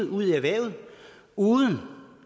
ud i erhvervet uden